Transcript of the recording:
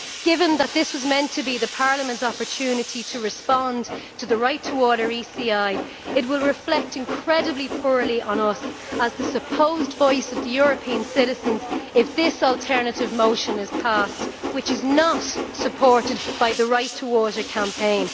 Given that this was meant to be Parliament's opportunity to respond to the Right2Water ECI it will reflect incredibly poorly on us as the supposed voice of European citizens if this alternative motion is passed, which is not supported by the Right2Water campaign.